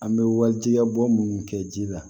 An bɛ walijigɛ bɔ minnu kɛ ji la